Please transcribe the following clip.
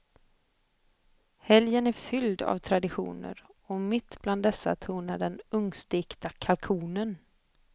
Helgen är fylld av traditioner och mitt bland dessa tronar den ugnsstekta kalkonen.